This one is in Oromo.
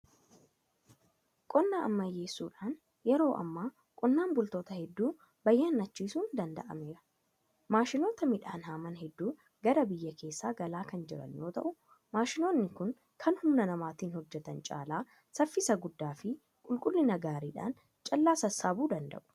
Qonna ammayyeessuudhaan yeroo ammaa qonnaan bultoota hedduu bayyanachiisuun danda'ameera. Maashinoota midhaan haaman hedduun gara biyya keessaa galaa kan jiran yoo ta'u; Maashinoonni kun kan humna namaatiin hojjetan caala saffisa guddaa fi qulqullina gaariidhaan callaa sassaabuu danda'u.